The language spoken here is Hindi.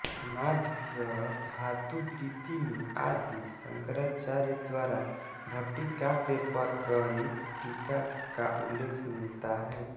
माधवीयधातुवृत्ति में आदि शंकराचार्य द्वारा भट्टिकाव्य पर प्रणीत टीका का उल्लेख मिलता है